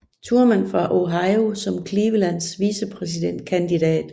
Thurman fra Ohio som Clevelands vicepræsidentkandidat